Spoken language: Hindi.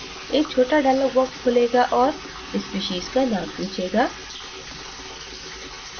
एक छोटा dialog box खुलेगा और species का name पूछेगा